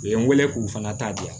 U ye n wele k'u fana ta diya